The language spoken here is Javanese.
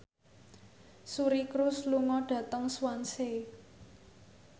Suri Cruise lunga dhateng Swansea